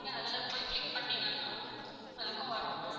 அதுல போய் click பண்ணீங்கனா அதுக்கும் வரும் ma'am.